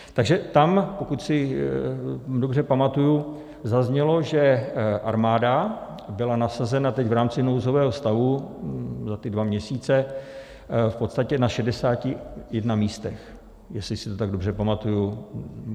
Takže tam, pokud si dobře pamatuji, zaznělo, že armáda byla nasazena teď v rámci nouzového stavu za ty dva měsíce v podstatě na 61 místech, jestli si to tak dobře pamatuji.